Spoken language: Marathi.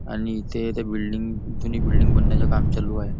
आणि इथे ते बिल्डिंग बिल्डिंग बनण्याचं काम चालू आहे.